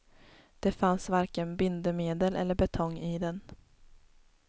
Det fanns varken bindemedel eller betong i den.